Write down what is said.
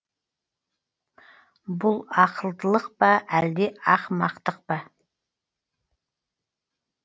бұл ақылдылық па әлде ақымақтық па